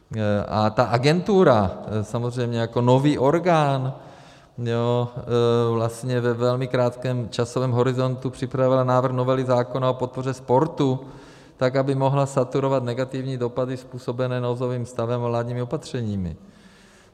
A ta agentura samozřejmě jako nový orgán vlastně ve velmi krátkém časovém horizontu připravila návrh novely zákona o podpoře sportu tak, aby mohla saturovat negativní dopady způsobené nouzovým stavem a vládními opatřeními.